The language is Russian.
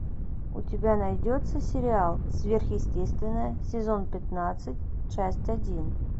у тебя найдется сериал сверхъестественное сезон пятнадцать часть один